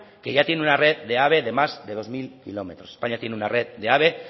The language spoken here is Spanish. que ya tiene una red de ave de más de dos mil kilómetros españa tiene una red